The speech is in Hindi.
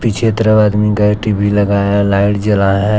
चित्र में आदमी का एक टी_वी लगाएं है लाइट जलाए हैं।